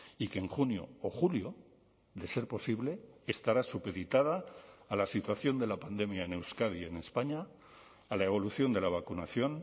y que en junio o julio de ser posible estará supeditada a la situación de la pandemia en euskadi y en españa a la evolución de la vacunación